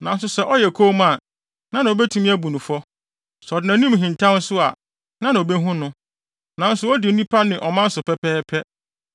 Nanso sɛ ɔyɛ komm a, hena na obetumi abu no fɔ? Sɛ ɔde nʼanim hintaw nso a, hena na obehu no? Nanso odi onipa ne ɔman so pɛpɛɛpɛ,